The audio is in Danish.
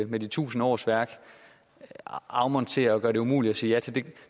med de tusind årsværk afmonterer og gør det umuligt at sige ja til